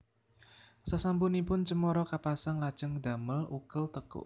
Sasampunipun cemara kapasang lajeng damel ukel tekuk